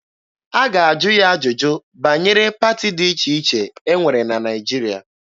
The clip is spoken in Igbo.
A ga-ajụ ya ajụjụ banyere pati dị iche iche e nwere na Naịjirịa.